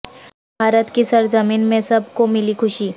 بھارت کی سر زمین میں سب کو ملی خوشی